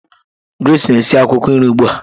Grace na-esi akwukwo nri ugbu a